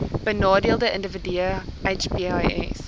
benadeelde individue hbis